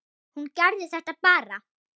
Hún gerði þetta bara.